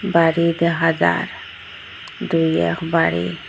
বাড়ি দেখা যার দুই এক বাড়ি।